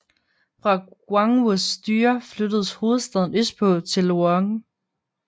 Fra Guangwus styre flyttedes hovedstaden østpå til Luoyang